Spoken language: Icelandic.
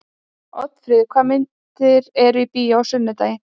Oddfríður, hvaða myndir eru í bíó á sunnudaginn?